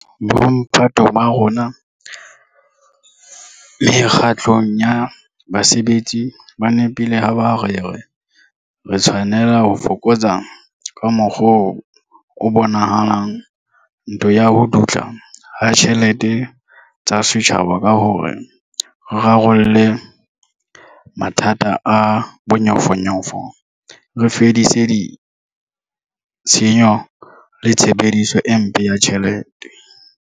Bomphato ba rona mekga tlong ya basebetsi ba nepile ha ba re re tshwanela ho fokotsa, ka mokgwa o bonahalang, ntho ya ho dutla ha ditjhelete tsa setjhaba ka hore re rarolle mathata a bonyofonyofo, re fedise tshenyo le tshebediso e mpe ya ditjhelete.